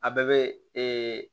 A bɛɛ bɛ